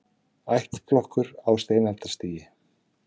Ættflokkur á steinaldarstigi